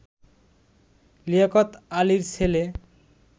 লিয়াকত আলির ছেলে